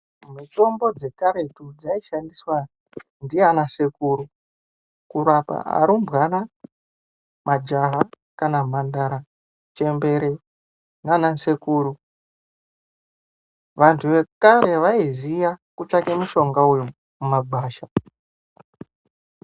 Mitombo dzekaretu dzaishandiswa ndiana sekuru kurapa arumbwana majaha kana mhandara chembere nana sekuru vantu vekare vaiziva kutsvake mushonga uyu mumagwasha.